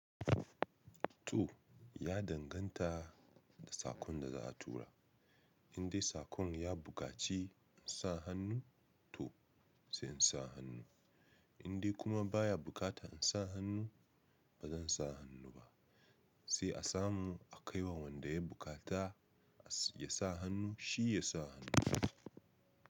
To ya danganta da sakon da za a tura, in dai sakon ya buƙaci sa hannu to zan sa hannu, in dai kuma baya buƙatar in sa hannu bazan sa hannu ba, sai a samu a kai wa wanda ya buƙata ya sa hannu shi ya sa hannu.